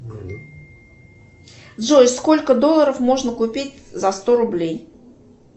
джой сколько долларов можно купить за сто рублей